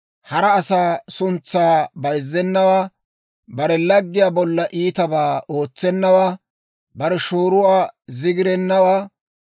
hara asaa suntsaa bayzzenawaa, Bare laggiyaa bolla iitabaa ootsennawaa, bare shooruwaa zigirennawaa;